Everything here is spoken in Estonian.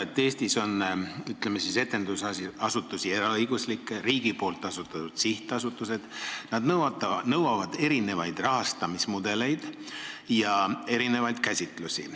Eestis on etendusasutusi nii eraõiguslikke kui ka riigi asutatud sihtasutusi, nad nõuavad erinevat rahastamist ja erinevaid käsitlusi.